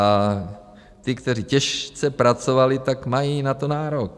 A ti, kteří těžce pracovali, tak mají na to nárok.